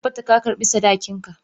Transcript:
Ka tabbata ka karba sadakinka!